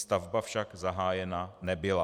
Stavba však zahájena nebyla.